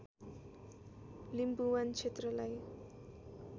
लिम्बुवान क्षेत्रलाई